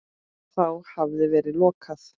Þá hafi verið lokað.